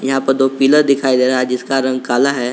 यहां पर दो पिलर दिखाई दे रहा है जिसका रंग काला है।